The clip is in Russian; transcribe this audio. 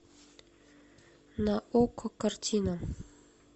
на окко картина